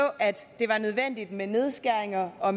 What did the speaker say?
at med nedskæringer og